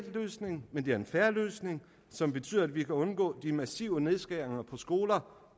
løsning men det er en fair løsning som betyder at vi kan undgå de massive nedskæringer på skoler